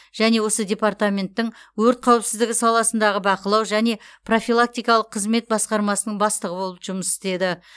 және осы департаменттің өрт қауіпсіздігі саласындағы бақылау және профилактикалық қызмет басқармасының бастығы болып жұмыс істеді